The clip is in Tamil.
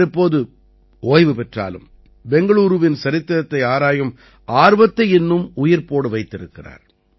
அவர் இப்போது ஓய்வு பெற்றாலும் பெங்களூரூவின் சரித்திரத்தை ஆராயும் ஆர்வத்தை இன்னும் உயிர்ப்போடு வைத்திருக்கிறார்